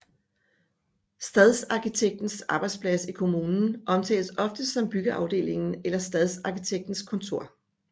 Stadsarkitektens arbejdsplads i kommunen omtales oftest som byggeafdelingen eller stadsarkitektens kontor